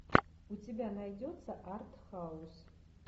у тебя найдется артхаус